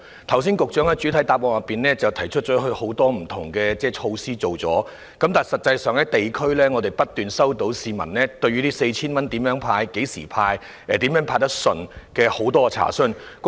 剛才局長在主體答覆中提到，已經推出多項不同措施，但我們在地區層面卻不斷收到市民查詢有關這 4,000 元的派發方式及時間，以及如何可以派得暢順。